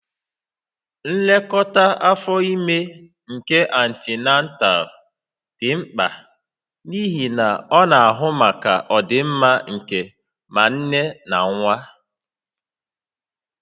Nlekọta afọ ime nke antinatal dị mkpa n'ihi na ọ na-ahụ maka ọdịmma nke ma nne na nwa